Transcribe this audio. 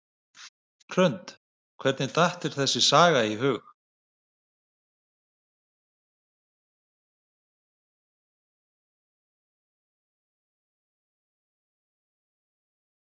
Hrund: Hvernig datt þér þessi saga í hug?